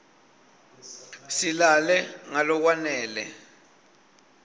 silale ngalokwanele